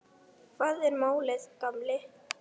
Hvað er málið, gamli?